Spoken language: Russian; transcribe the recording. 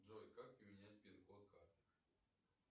джой как поменять пин код карты